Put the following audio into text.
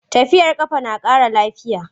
Tafiyar ƙafa na ƙara lafiya.